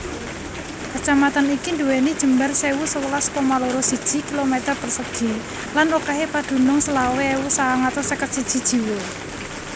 Kacamatan iki nduwèni jembar sewu sewelas koma loro siji km persegi lan okèhé padunung selawe ewu sangang atus seket siji jiwa